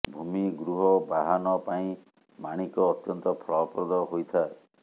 ଭୂମି ଗୃହ ବାହନ ପାଇଁ ମାଣିକ ଅତ୍ୟନ୍ତ ଫଳପ୍ରଦ ହୋଇଥାଏ